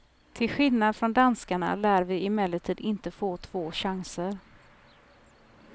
Till skillnad från danskarna lär vi emellertid inte få två chanser.